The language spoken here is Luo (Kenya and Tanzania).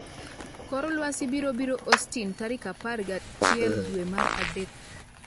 kor lwasi biro biro Austin tarik apar gi auchiel dwe mar adek